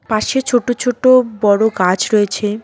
পাশে ছোট ছোট বড় গাছ রয়েছে।